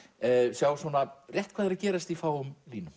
sjá rétt hvað er að gerast í fáum línum